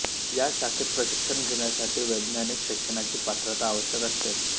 या शाखेत प्रशिक्षण घेण्यासाठी वैज्ञानिक शैक्षणाची पात्रता आवश्यक असते